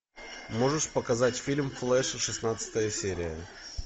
можешь показать фильм флэш шестнадцатая серия